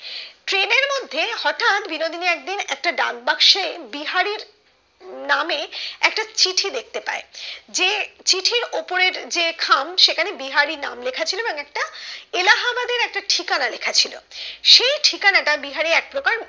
একটা ডাক বাক্সে বিহারীর নামে একটা চিঠি দেখতে পাই, যে চিঠির ওপরের যে খাম সেখানে বিহারি নাম লেখা ছিল এবং একটা এলাহাবাদ এর একটা ঠিকনা লেখা ছিল সেই ঠিকনা টা বিহারি একপ্রকার